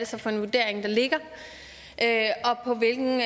så for en vurdering der ligger og på hvilken